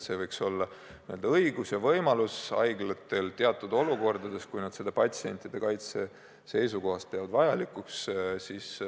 Haiglatel võiks õigus ja võimalus ravimite jaemüüki teostada olla teatud olukordades, kui nad peavad seda patsientide kaitse seisukohast vajalikuks.